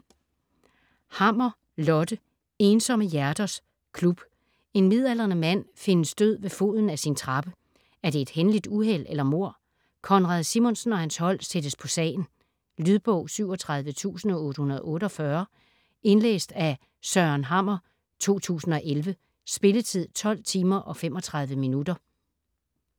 Hammer, Lotte: Ensomme hjerters klub En midaldrende mand findes død ved foden af sin trappe - er det et hændeligt uheld eller mord? Konrad Simonsen og hans hold sættes på sagen. Lydbog 37848 Indlæst af Søren Hammer, 2011. Spilletid: 12 timer, 35 minutter.